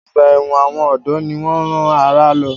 Ọgbà ẹ̀wọ̀n àwọn ọ̀dọ́ ni wọ́n rán àrà lọ.